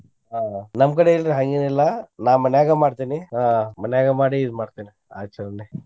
ಆಹ್ ನಮ್ಮ್ ಕಡೆ ಇಲ್ರಿ ಹಂಗೆನಿಲ್ಲಾ ನಾ ಮನ್ಯಾಗ ಮಾಡ್ತೇನಿ ಆಹ್ ಮನ್ಯಾಗ ಮಾಡಿ ಇದ್ ಮಾಡ್ತೇನಿ ಆಚರಣೆ.